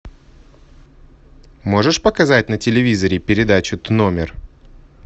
можешь показать на телевизоре передачу тномер